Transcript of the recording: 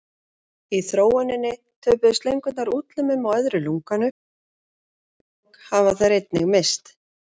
Í þróuninni töpuðu slöngur útlimum og öðru lunganu og augnalok hafa þær einnig misst.